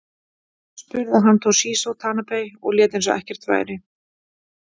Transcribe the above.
Spruði hann Toshizo Tanabe og lét eins og ekkert væri.